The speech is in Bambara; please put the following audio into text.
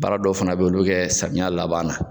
Baara dɔw fana bɛ yen olu kɛ samiya laban na